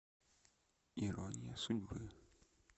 ирония судьбы